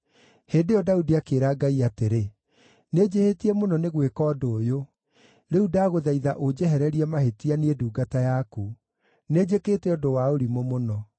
Hĩndĩ ĩyo Daudi akĩĩra Ngai atĩrĩ, “Nĩnjĩhĩtie mũno nĩ gwĩka ũndũ ũyũ. Rĩu ndagũthaitha ũnjehererie mahĩtia, niĩ ndungata yaku. Nĩnjĩkĩte ũndũ wa ũrimũ mũno.”